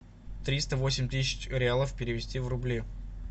триста восемь тысяч реалов перевести в рубли